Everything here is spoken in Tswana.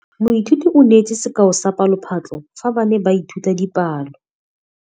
Moithuti o neetse sekaô sa palophatlo fa ba ne ba ithuta dipalo.